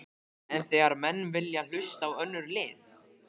En þegar menn vilja hlusta á önnur lið?